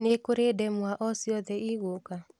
nĩ kũrĩ ndemwa ociothe igũũka